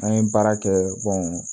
An ye baara kɛ